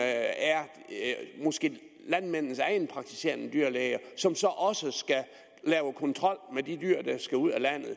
er landmændenes egen praktiserende dyrlæge som så også skal lave kontrol med de dyr der skal ud af landet